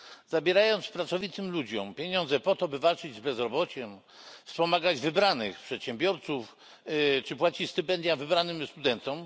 Zabierając pracowitym ludziom pieniądze po to, by walczyć z bezrobociem, wspomagać wybranych przedsiębiorców czy płacić stypendia wybranym studentom.